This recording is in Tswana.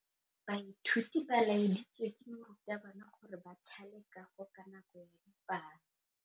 Baithuti ba laeditswe ke morutabana gore ba thale kagô ka nako ya dipalô.